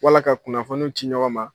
Wala ka kunnafoni ci ɲɔgɔn ma